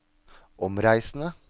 omreisende